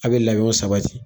A be labɛnw sabati